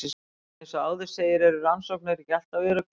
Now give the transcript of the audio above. Eins og áður segir eru rannsóknir ekki alltaf öruggar.